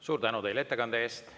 Suur tänu teile ettekande eest!